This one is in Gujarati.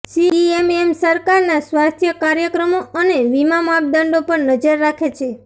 સીએમએમ સરકારના સ્વાસ્થ્ય કાર્યક્રમો અને વીમા માપદંડો પર નજર રાખે છે